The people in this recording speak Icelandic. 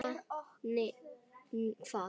Nema hvað.